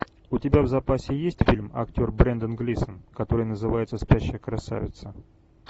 у тебя в запасе есть фильм актер брендан глисон который называется спящая красавица